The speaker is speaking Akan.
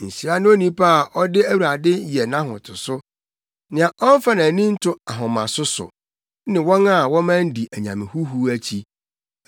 Nhyira ne onipa a ɔde Awurade yɛ nʼahotoso, nea ɔmfa nʼani nto ahomaso so, ne wɔn a wɔman di anyame huhuw akyi.